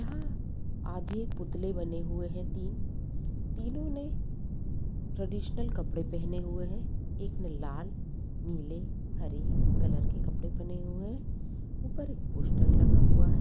यहाँ आधे एक पुतले बने हुए हैं तीन तीनों ने ट्रेडिशनल कपड़े पहने हुए हैं एक ने लाल नीले हरे कलर के कपड़े पहने हुए हैं ऊपर एक पोस्टर लगा हुआ है।